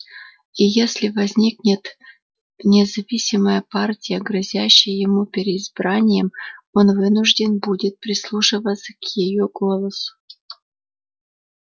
и если возникнет независимая партия грозящая ему переизбранием он вынужден будет прислушиваться к её голосу